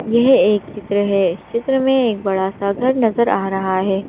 यह एक चित्र है इस चित्र में एक बड़ा सा घर नजर आ रहा है।